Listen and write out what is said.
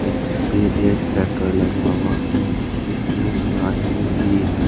इस पे एक शटर लगा हुआ है जिसमें आदमी भी है।